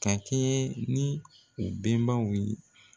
Ka kɛɲɛ ni u benbaw ye